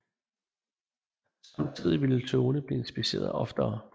Samtidig ville togene blive inspiceret oftere